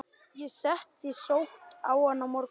Ég get sótt hann á morgun.